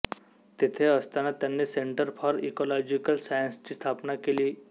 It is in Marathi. तेथे असताना त्यांनी सेंटर फॉर इकॉलॉजिकल सायन्सेसची स्थापना केली